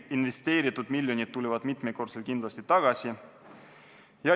Investeeritud miljonid tulevad mitmekordselt kindlasti tagasi.